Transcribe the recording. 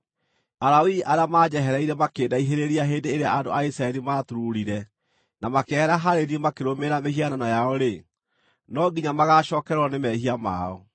“ ‘Alawii arĩa maanjehereire makĩndaihĩrĩria hĩndĩ ĩrĩa andũ a Isiraeli maaturuurire na makĩehera harĩ niĩ makĩrũmĩrĩra mĩhianano yao-rĩ, no nginya magaacookererwo nĩ mehia mao.